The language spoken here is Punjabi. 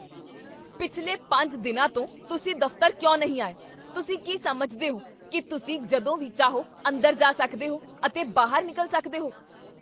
ਪਿਛਲੇ ਪੰਜ ਦਿਨਾਂ ਤੋਂ ਤੁਸੀਂ ਦਫ਼ਤਰ ਕਿਉਂ ਨਹੀਂ ਆਏ? ਤੁਸੀਂ ਕੀ ਸਮਝਦੇ ਹੋ ਕੀ ਤੁਸੀਂ ਜਦੋਂ ਵੀ ਚਾਹੋ ਅੰਦਰ ਜਾ ਸਕਦੇ ਹੋ ਅਤੇ ਬਾਹਰ ਨਿਕਲ ਸਕਦੇ ਹੋ?